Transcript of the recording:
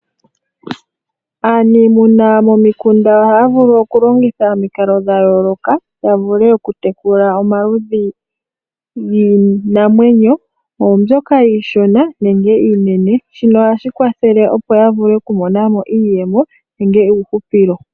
Aaniimuna momikunda ohaya vulu okulongitha omikalo dha yooloka ya vule oku tekula omaludhi giinamwenyo oombyoka iishona nenge iinene shino ohashi kwathele opo ya vule okumona mo iiyemo nenge iihupilo.